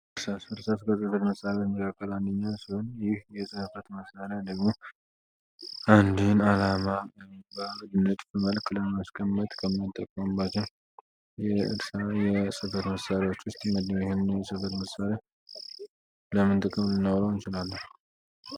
እርሳስ ከጽበት መሳበት መካከል አንኛ ስሆን ይህ የሰህፈት መስሪያ ደግሞ አንዲህን አላማ ኤምባር መልክ ለመሽከመት ከማጠቋምባቸም የእርሳ የጽበት መሳሪዎች ውስጥ የመደዊህነ ስበት መሳሪያ ለምንጥቅም ልነውራው እንችላል።